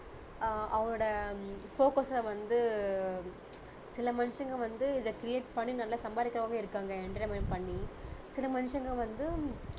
ஆஹ் அவனோட focus ச வந்து சில மனுஷங்க வந்து இதை create பண்ணி நல்லா சம்பாதிக்கிறவங்க இருக்காங்க entertainment பண்ணி சில மனுஷங்க வந்து